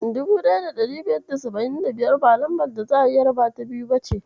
1575 ba lambar da za'a iya rabata biyu ba ce.